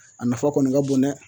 A nafa kɔni ka bon dɛ